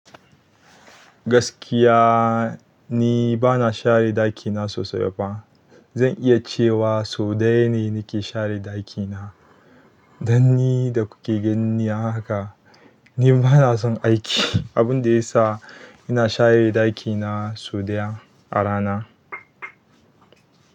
Gaskiya ni bana share ɗakina sosai ba. Zan iya cewa sau ɗaya ne nake share ɗakina. Dan ni da kuke ganina haka, ni bana son aiki. Abun da ya sa ina share ɗakina sau ɗaya a rana.